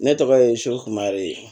Ne tɔgɔ ye sho mareye